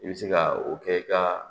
I bɛ se ka o kɛ i ka